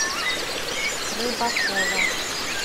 рыбакова